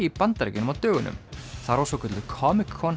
í Bandaríkjunum á dögunum þar var svokölluð Comic